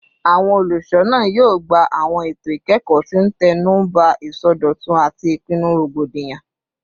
Awọn olusona yoo gba awọn eto ikẹkọ ti n tẹnuba isọdọtun ati ipinnu rogbodiyan